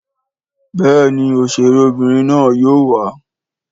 Béèni òṣèré Obìnrin na yóò wà.